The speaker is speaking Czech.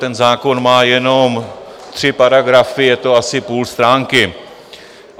Ten zákon má jenom tři paragrafy, je to asi půl stránky.